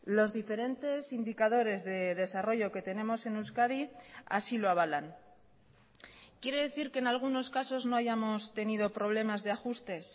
los diferentes indicadores de desarrollo que tenemos en euskadi así lo avalan quiere decir que en algunos casos no hayamos tenido problemas de ajustes